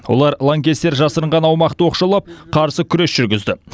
олар лаңкестер жасырынған аумақты оқшаулап қарсы күрес жүргізді